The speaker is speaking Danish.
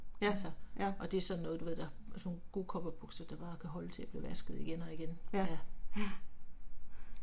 Ja, ja. Ja, ja